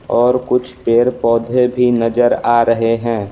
और कुछ पेड़-पौधे भी नजर आ रहे हैं ।